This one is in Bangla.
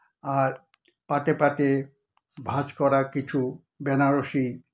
আর পাটে পাটে ভাঁজ করা কিছু বেনারসি